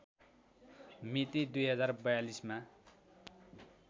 मिति २०४२ मा